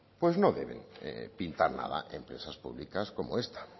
pues no deben pintar nada empresas públicas como esta